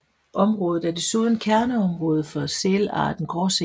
Området er desuden kærneområde for sælarten Gråsæl